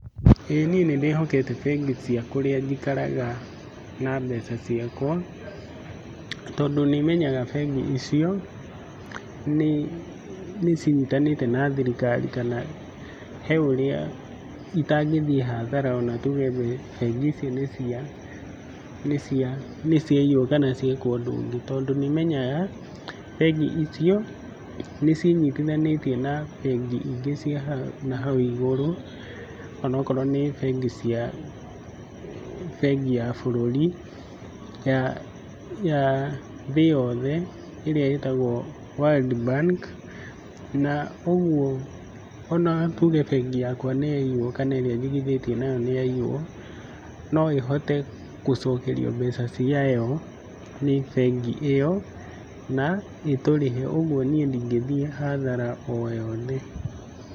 Ĩĩ niĩ nĩndĩhokete bengi cia kũrĩa njikaraga na mbeca ciakwa tondũ nĩmenyaga bengi icio nĩcinyitanĩte na thirikari kana he ũrĩa itangĩthiĩ hathara ona tuge bengi icio nĩ cia nĩ cia nĩ ciaiywo kana ciekwo ũndũ ũngĩ, tondũ nĩmenyaga bengi icio nĩcinyitithanĩtio na bengi ingĩ cia ha na hau igũrũ, onokorwo nĩ bengi cia bengi ya bũrũri ya ya thĩ yothe ĩrĩa ĩtagwo World Bank, na ũguo ona tuge bengi yakwa nĩyaiywo kana ĩrĩa njigithĩtie nayo nĩyaiywo, no ĩhote gũcokerio mbeca ciayo nĩ bengĩ ĩyo na ĩtũrĩhe ũguo niĩ ndingĩthiĩ hathara o yothe.